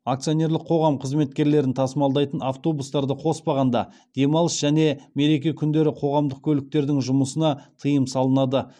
акционерлік қоғам қызметкерлерін тасымалдайтын автобустарды қоспағанда демалыс және мереке күндері қоғамдық көліктердің жұмысына тыйым салынады